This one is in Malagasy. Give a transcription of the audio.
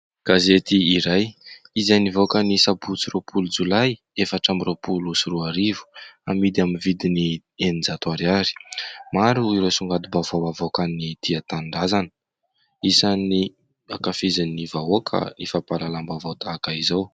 Gazety iray izay nivoaka ny sabotsy roapolo jolay efatra amby roapolo sy roa arivo, amidy amin'ny vidiny eninjato ariary. Maro ireo songadim-baovao havoakan'ny "tia tanindrazana" isan'ny ankafizin'ny vahoaka ny fampahalalam-baovao tahaka izao.